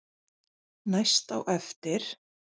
Næst á eftir